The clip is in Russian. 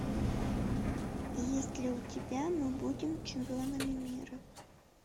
есть ли у тебя мы будем чемпионами мира